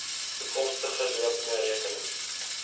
toekomstige lopende rekenings